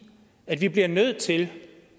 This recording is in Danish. at vi bliver nødt til